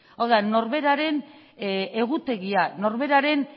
hau da norberaren egutegia norberaren